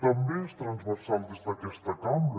també és transversal des d’aquesta cambra